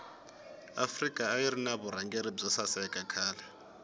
afrika ayirina vurhangeli bwosaseka khale